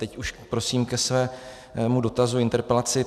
Teď už prosím ke svému dotazu, interpelaci.